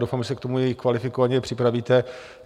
Doufám, že se k tomu i kvalifikovaně připravíte.